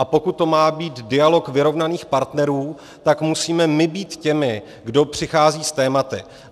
A pokud to má být dialog vyrovnaných partnerů, tak musíme my být těmi, kdo přichází s tématy.